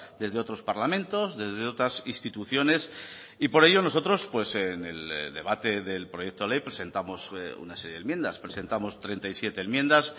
desde otros parlamentos desde otras instituciones y por ello nosotros pues en el debate del proyecto de ley presentamos una serie de enmiendas presentamos treinta y siete enmiendas